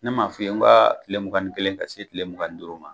Ne ma'a f'i ye ka kile mugan ni kelen ka se kile mugan ni duuru ma